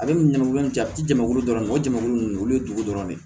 Ale ni jamu in a tɛ jamakulu dɔ dɔrɔn de mago ninnu olu ye dugu dɔrɔn de ye